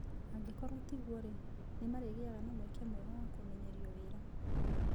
Angĩkorũo tiguo-rĩ, nĩ marĩgĩaga na mweke mwega wa kũmenyerio wĩra-inĩ.